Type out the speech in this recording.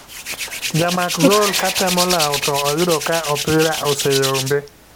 Jamak gol ka temo lawo to oyudo ka opira oseyombe.